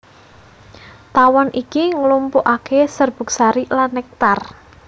Tawon iki nglumpukaké serbuk sari lan nektar